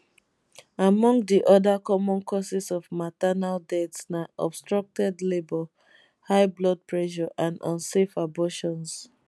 among di oda common causes of maternal deaths na obstructed labour high blood pressure and unsafe abortions